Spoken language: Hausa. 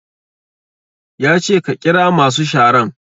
Ya ce ka ƙira masu sharan!